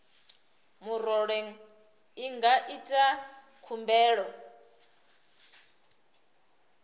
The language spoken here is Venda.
murole i nga ita khumbelo